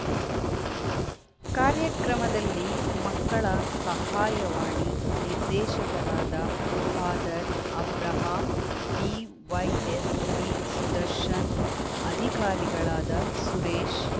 ಕಾರ್ಯಕ್ರಮದಲ್ಲಿ ಮಕ್ಕಳ ಸಹಾಯವಾಣಿ ನಿರ್ದೇಶಕರಾದ ಫಾದರ್‌ ಅಬ್ರಹಾಂ ಡಿವೈಎಸ್‌ಪಿ ಸುದರ್ಶನ್‌ ಅಧಿಕಾರಿಗಳಾದ ಸುರೇಶ್‌